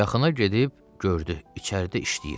Yaxına gedib gördü, içəridə işləyir.